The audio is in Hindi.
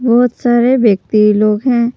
बहोत सारे व्यक्ति लोग हैं।